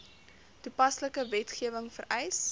toepaslike wetgewing vereis